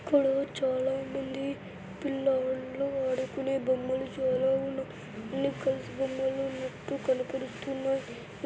ఇక్కడ చాల మంది పిల్లోనుడ్లను ఆడుకునే బొమ్మలు చాల ఉన్నాయ్ బొమ్మలున్నట్లు కనపడుస్తున్నాయ్.